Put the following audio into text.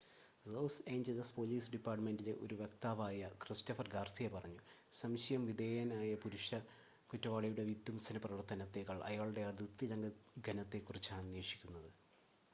loss Angeles police ഡിപ്പാർട്ടുമെന്റിലെ ഒരു വക്താവായ ക്രിസ്റ്റഫർ ഗാർസിയ പറഞ്ഞു, സംശയ വിധേയനായ പുരുഷ കുറ്റവാളിയുടെ വിധ്വംസന പ്രവർത്തനത്തേക്കാൾ അയാളുടെ അതിർത്തിലംഘനത്തെ കുറിച്ചാണ് അന്വേഷിക്കുന്നത്